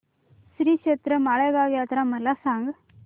श्रीक्षेत्र माळेगाव यात्रा मला सांग